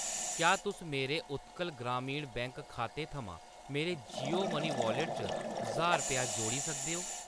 क्या तुस मेरे उत्कल ग्रामीण बैंक खाते थमां मेरे जियो मनी वाॅलेट च ज्हार रपेआ जोड़ी सकदे ओ ?